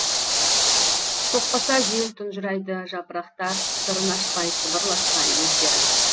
соқпаса жел тұнжырайды жапырақтар сырын ашпай сыбырласпай өздері